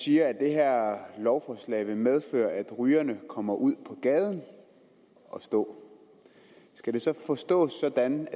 siger at det her lovforslag vil medføre at rygerne kommer ud på gaden at stå skal det så forstås sådan